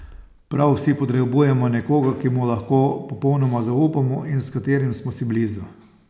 Prav vsi potrebujemo nekoga, ki mu lahko popolnoma zaupamo in s katerim smo si blizu.